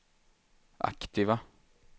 aktiva